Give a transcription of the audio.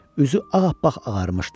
Üzü ağappaq ağarmışdı.